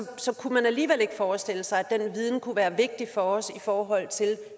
så kunne man alligevel ikke forestille sig at den viden kunne være vigtig for os i forhold til